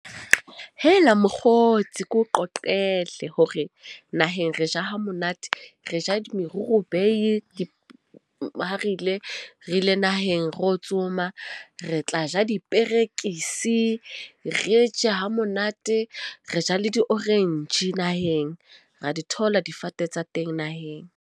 Hela, mokgotsi. Ke o qoqele hore naheng re ja hamonate, re ja di morobeiye , ha re ile ra ile naheng re o tsoma. Re tla ja diperekisi, re je hamonate. Re ja le di orange naheng. Ra di thola difate tsa teng naheng.